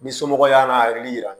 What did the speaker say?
Ni somɔgɔw y'a n'a hakili yira